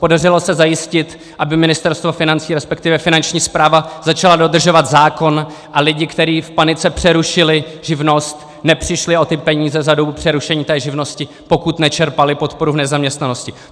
Podařilo se zajistit, aby Ministerstvo financí respektive Finanční správa začala dodržovat zákon a lidi, kteří v panice přerušili živnost, nepřišli o ty peníze za dobu přerušení té živnosti, pokud nečerpali podporu v nezaměstnanosti.